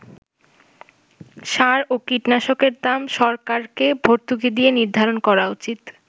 সার ও কীটনাশকের দাম সরকারকে ভর্তুকি দিয়ে নির্ধারণ করা উচিত”।